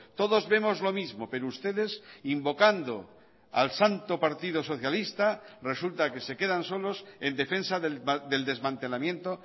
todos vemos lo mismo pero ustedes invocando al santo partido socialista resulta que se quedan solos en defensa del desmantelamiento